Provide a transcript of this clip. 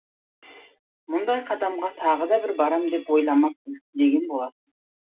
мұндай қадамға тағы да бір барам деп ойламаймын деген болатын